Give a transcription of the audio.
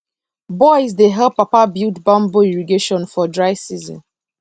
boys dey help papa build bamboo irrigation for dry season